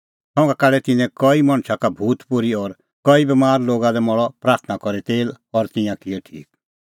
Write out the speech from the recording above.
संघा काढै तिन्नैं कई मणछा का भूत पोर्ही और कई बमार लोगा लै मल़अ प्राथणां करी तेल और तिंयां किऐ ठीक